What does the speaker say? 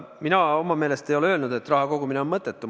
Mina oma meelest ei ole öelnud, et raha kogumine on mõttetu.